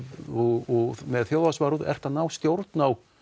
og með þjóðhagsvarúð ertu að ná stjórn á